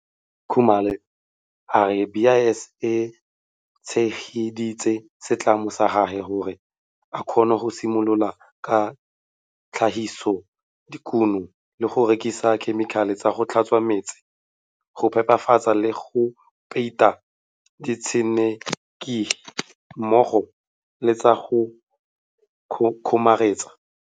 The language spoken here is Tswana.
Khumalo a re BIS e tshegeditse setlamo sa gagwe gore a kgone go simolola ka tlhagisodikuno le go rekisa dikhemikhale tsa go tlhatswa meetsi, go phepafatsa le go peita ditshenekegi mmogo le tsa go kgomaretsa.